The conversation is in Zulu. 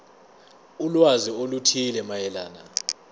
ulwazi oluthile mayelana